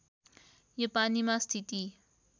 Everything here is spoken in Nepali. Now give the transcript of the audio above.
यो पानीमा स्थिति